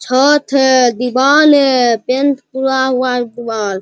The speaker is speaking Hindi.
छत है दीवार है पेंट हुआ है पूरा दीवार।